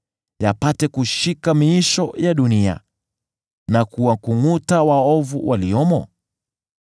yapate kushika miisho ya dunia, na kuwakungʼuta waovu waliomo?